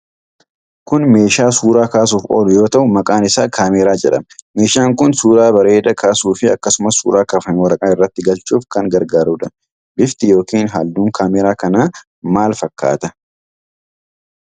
Kun meeshaa suura kaasuuf oolu yoo ta'u, maqaan isaa Caameraa jedhama. Meeshaan kun suura bareeda kaasufii akkasumas suura kaafame waraqaa irratti galchuuf kan gargaarudha. Bifti yookiin halluun kaameraa kanaa maal fakkaata?